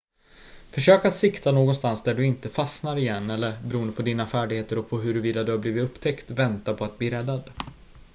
försök att sikta någonstans där du inte fastnar igen eller beroende på dina färdigheter och på huruvida du har blivit upptäckt vänta på att bli räddad